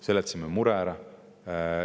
Seletasime mure ära.